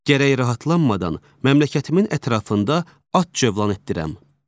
Gərək rahatlanmadan məmləkətimin ətrafında at cövlan etdirəm.